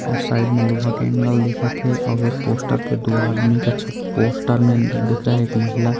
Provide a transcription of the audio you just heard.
अऊ साइड मे लोहा के एंगल दिखा थे अऊ एक पोस्टर पे दो आदमी का छप पोस्टर में दिख रहा हें एक महिला--